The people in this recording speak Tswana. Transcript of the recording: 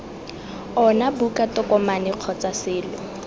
ona buka tokomane kgotsa selo